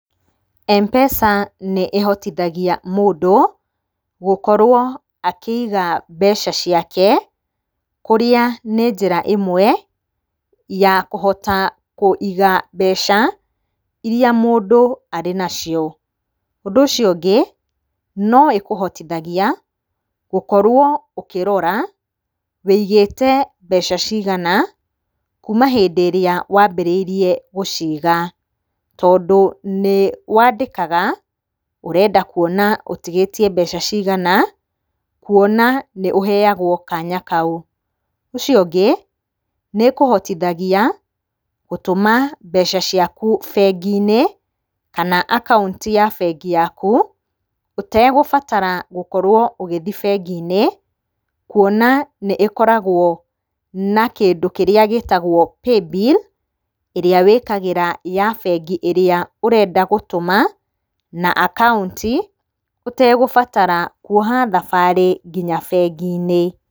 M-pesa nĩ ĩhotithagia mũndũ gũkorwo akĩiga mbeca ciake kũrĩa nĩ njĩra ĩmwe ya kũhota kũiga mbeca iria mũndũ arĩ nacio. Ũndũ ũcio ũngĩ, no ĩkũhotithagia gũkorwo ũkĩrora wũigĩte mbeca cigana kuma hĩndĩ ĩrĩa wambĩrĩirie gũciga. Tondũ nĩwandĩkaga ũrenda kuona ũtigĩtiĩ mbeca cigana kuona nĩ ũheyagwo kanya kau. Ũcio ũngĩ, nĩĩkũhotithagia gũtũma mbeca ciaku bengi-inĩ kana akaunti ya bengi yaku ũtegũbatara gũkorwo ũgĩthiĩ bengi-inĩ, kuona nĩ ĩkoragwo na kĩndũ kĩrĩa gĩtagwo paybil ĩrĩa wĩkagĩra ya bengi ĩrĩa ũrenda gũtũma na akaunti ũtegũbatara kuoha thabarĩ nginya bengi-inĩ.